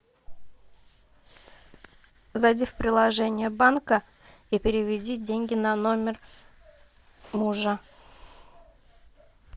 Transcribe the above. зайди в приложение банка и переведи деньги на номер мужа